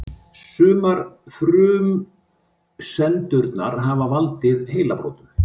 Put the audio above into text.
Sumar frumsendurnar hafa valdið heilabrotum.